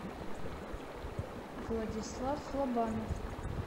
владислав лобанов